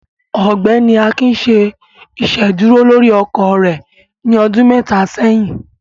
Ọgbẹni Akín ṣè iṣedúrò lórí ọkọ rẹ ní ọdún mẹta sẹ̀yìn.